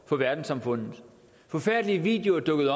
for verdenssamfundet forfærdelige videoer dukkede